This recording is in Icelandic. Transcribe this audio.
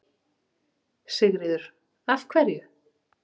Sigríður: Af hverju?